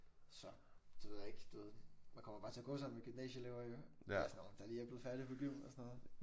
Så det ved jeg ikke du ved man kommer bare til at gå sammen med gymnasieelever jo eller sådan nogle der lige er blevet færdige på gym og sådan noget